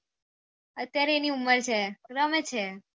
અત્યારે એની ઉમર છે રમે છે